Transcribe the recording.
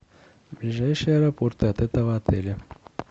ближайшие аэропорты от этого отеля